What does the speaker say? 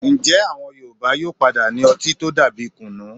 Ǹjẹ́ àwọn Yorùbá yóò padà ní ọtí tó dà bíi kùnú?